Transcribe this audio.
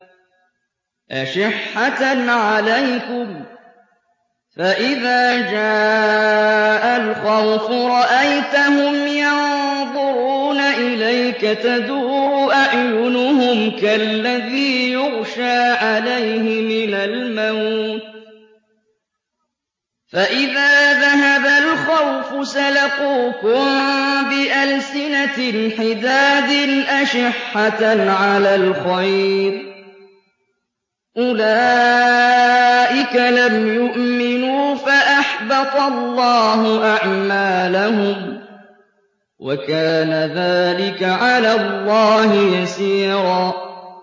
أَشِحَّةً عَلَيْكُمْ ۖ فَإِذَا جَاءَ الْخَوْفُ رَأَيْتَهُمْ يَنظُرُونَ إِلَيْكَ تَدُورُ أَعْيُنُهُمْ كَالَّذِي يُغْشَىٰ عَلَيْهِ مِنَ الْمَوْتِ ۖ فَإِذَا ذَهَبَ الْخَوْفُ سَلَقُوكُم بِأَلْسِنَةٍ حِدَادٍ أَشِحَّةً عَلَى الْخَيْرِ ۚ أُولَٰئِكَ لَمْ يُؤْمِنُوا فَأَحْبَطَ اللَّهُ أَعْمَالَهُمْ ۚ وَكَانَ ذَٰلِكَ عَلَى اللَّهِ يَسِيرًا